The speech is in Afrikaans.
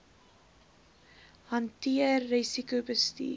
hanteer risiko bestuur